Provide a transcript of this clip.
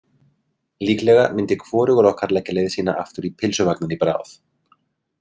Líklega myndi hvorugur okkar leggja leið sína aftur í pylsuvagninn í bráð.